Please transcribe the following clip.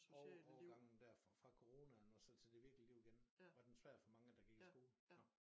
Over overgangen dér fra fra coronaen og så til det virkelige liv igen var den svært for mange de gik i skole? Nå